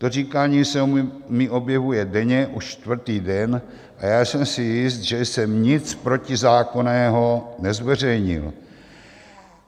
To říkání se mi objevuje denně už čtvrtý den a já jsem si jist, že jsem nic protizákonného nezveřejnil.